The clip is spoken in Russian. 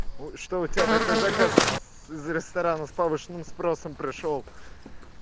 ну что у тебя такой заказ из ресторана с повышенным спросом пришёл